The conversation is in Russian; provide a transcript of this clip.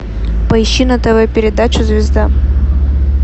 поищи на тв передачу звезда